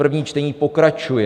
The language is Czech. První čtení pokračuje.